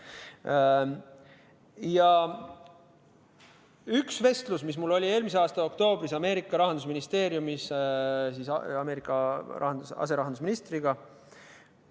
Mul oli üks vestlus eelmise aasta oktoobris Ameerika Rahandusministeeriumis Ameerika aserahandusministriga.